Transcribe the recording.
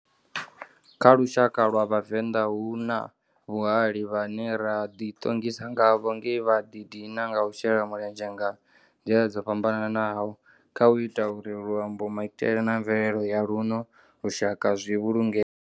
Kha lushaka lwa Vhavenda, hu na vhahali vhane ra ḓi ṱongisa ngavho nge vha ḓi dina nga u shela mulenzhe nga nḓila dzo fhambananaho khau ita uri luambo, maitele na mvelele ya luno lushaka zwi vhulungee.